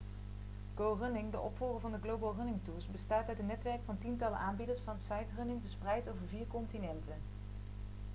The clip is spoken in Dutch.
go running de opvolger van de global running tours bestaat uit een netwerk van tientallen aanbieders van sightrunning' verspreid over vier continenten